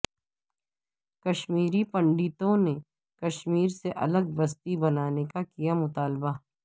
کشمیری پنڈتوں نے کشمیر سے الگ بستی بنانے کا کیا مطالبہ